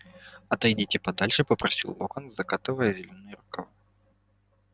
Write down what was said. отойдите подальше попросил локонс закатывая зелёные рукава